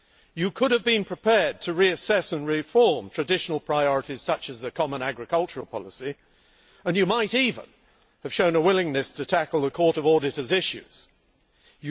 You could have been prepared to reassess and reform traditional priorities such as the common agricultural policy, and you might even have shown a willingness to tackle the issues raised by the Court of Auditors.